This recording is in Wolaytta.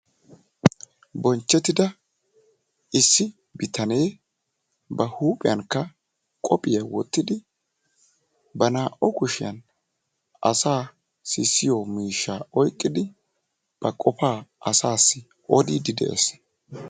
Bonchchetida issi bitanee ba huuphiyankka qophiya wottidi ba naa"u kushiyaan asaa sissiyo miishsha oyqqidi ba qopa asasi odiidi de'ees.